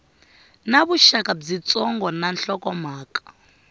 na vuxaka byitsongo na nhlokomhaka